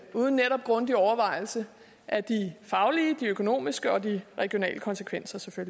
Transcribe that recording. uden grundige overvejelser af de faglige de økonomiske og de regionale konsekvenser